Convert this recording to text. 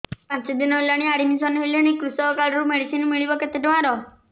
ମୁ ପାଞ୍ଚ ଦିନ ହେଲାଣି ଆଡ୍ମିଶନ ହେଲିଣି କୃଷକ କାର୍ଡ ରୁ ମେଡିସିନ ମିଳିବ କେତେ ଟଙ୍କାର